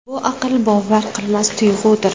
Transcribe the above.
Bu aql bovar qilmas tuyg‘udir!